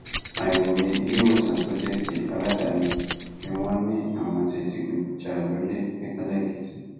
àìmọye iléèwòsàn tó jẹ ti aládàáni ni wọn ní àwọn ti digun jà lọlẹ nípínlẹ èkìtì